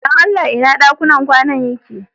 Dan Allah ina ɗakunan kwana din yake?